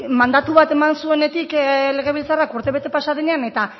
mandatu bat eman zuenetik legebiltzarrak urte bete pasa denean eta